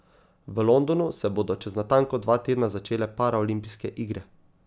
V Londonu se bodo čez natanko dva tedna začele paraolimpijske igre.